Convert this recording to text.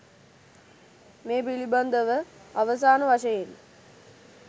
මේ පිළිබඳව අවසාන වශයෙන්